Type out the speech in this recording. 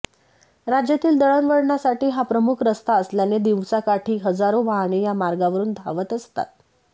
राज्यातील दळणवळणासाठी हा प्रमुख रस्ता असल्याने दिवसाकाठी हजारो वाहने या मार्गावरून धावत असतात